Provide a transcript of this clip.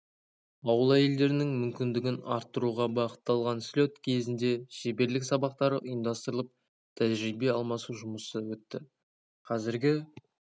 ауыл әйелдерінің мүмкіндігін арттыруға бағытталған слет кезінде шеберлік сабақтары ұйымдастырылып тәжірибе алмасу жұмысы өтті қазіргі